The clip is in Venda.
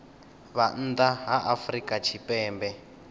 vha nnḓa ha afrika tshipembe